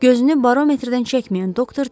Gözünü barometrdən çəkməyən doktor dedi.